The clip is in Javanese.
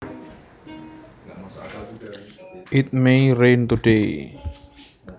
It may rain today